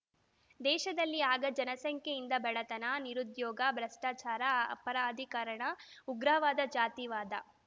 ದೇಶದಲ್ಲಿ ಆಗ ಜನಸಂಖ್ಯೆಯಿಂದ ಬಡತನ ನಿರುದ್ಯೋಗ ಭ್ರಷ್ಟಾಚಾರ ಅಪರಾಧೀಕರಣ ಉಗ್ರವಾದ ಜಾತಿವಾದ